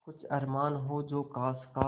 कुछ अरमान हो जो ख़ास ख़ास